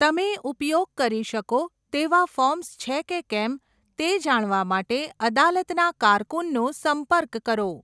તમે ઉપયોગ કરી શકો તેવા ફોર્મ્સ છે કે કેમ તે જાણવા માટે અદાલતના કારકુનનો સંપર્ક કરો.